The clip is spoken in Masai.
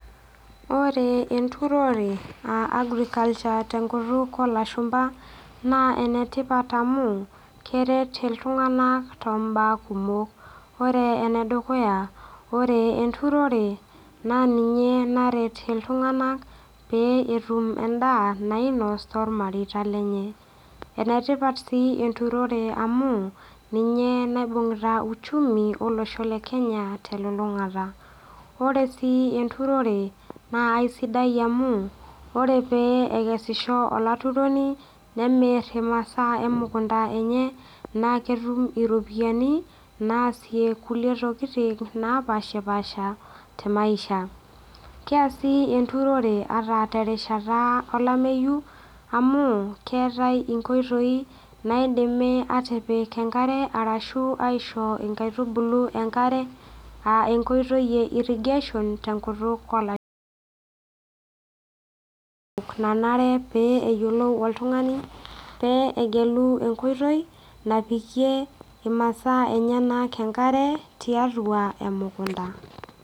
Ore enturore aa agriculture tenkutuk olashumpa naa enetipat amu kere iltung'anak tombaa kumok ore enedukuya ore enturore naa ninye naret iltung'anak pee etum endaa nainos tormareita lenye enetipat sii enturore amu ninye naibung'ita uchumi olosho le kenya telulung'ata ore sii enturore naa aisidai amu ore pee ekesisho olaturoni nemirr imasaa emukunta enye naa ketum iropiyiani naasie kulie tokiting napashipasha te maisha keasi enturore ata terishata olameyu amu keetae inkoitoi naidimi atipik enkare arashu aisho inkaitubulu enkare aa enkoitoi e irrigation tenkutuk olananare pee eyiolou oltung'ani pee egelu enkoitoi napikie imasaa enyenak enkare tiatua emukunta.